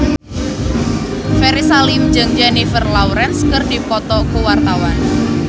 Ferry Salim jeung Jennifer Lawrence keur dipoto ku wartawan